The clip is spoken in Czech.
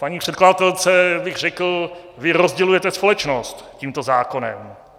Paní předkladatelce bych řekl - vy rozdělujete společnost tímto zákonem.